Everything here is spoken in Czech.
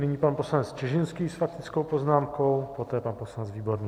Nyní pan poslanec Čižinský s faktickou poznámkou, poté pan poslanec Výborný.